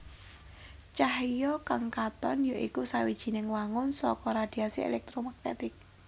Cahya kang katon ya iku sawijining wangun saka radhiasi èlèktromagnetik